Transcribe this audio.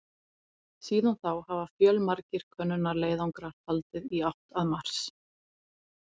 Síðan þá hafa fjölmargir könnunarleiðangrar haldið í átt að Mars.